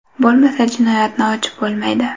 Bo‘lmasa jinoyatni ochib bo‘lmaydi.